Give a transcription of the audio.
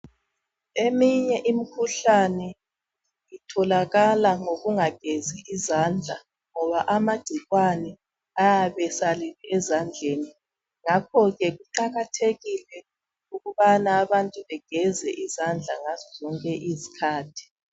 Eminye imkhuhlane itholakala ngokunga gezi izandla ngoba amagcikwane ayabe esalele ezandleni ngakho ke kuqakathekile ukubana abantu bageze izandla ngazo zonke izikhathi.